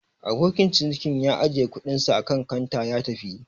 Abokin cinikin ya ajiye kuɗinsa akan kanta ya tafi.